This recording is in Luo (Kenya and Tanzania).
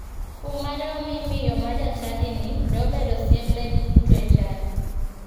Kum mane omi miyo ma jachadini ne obedo siem ne ji duto e chadi.